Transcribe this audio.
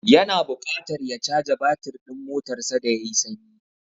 Ya na buƙatar ya caja batir ɗin motarsa da ya yi sanyi.